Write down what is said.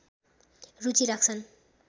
रुचि राख्छन्